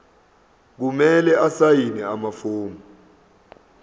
kumele asayine amafomu